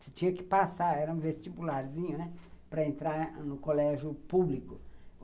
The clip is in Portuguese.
Você tinha que passar, era um vestibularzinho, né, para entrar no colégio público.